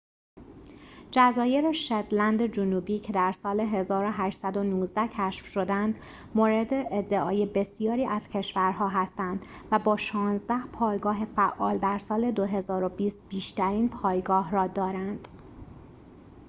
جزایر شتلند جنوبی که در سال ۱۸۱۹ کشف شدند مورد ادعای بسیاری از کشور‌ها هستند و با شانزده پایگاه فعال در سال ۲۰۲۰ بیشترین پایگاه را دارند